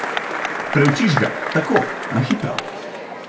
Preučiš ga, tako, na hitro.